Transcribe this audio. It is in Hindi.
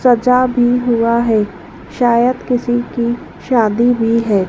सजा भी हुआ है शायद किसी की शादी भी है।